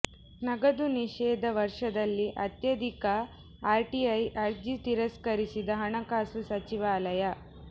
ನಗದು ನಿಷೇಧ ವರ್ಷದಲ್ಲಿ ಅತ್ಯಧಿಕ ಆರ್ಟಿಐ ಅರ್ಜಿ ತಿರಸ್ಕರಿಸಿದ ಹಣಕಾಸು ಸಚಿವಾಲಯ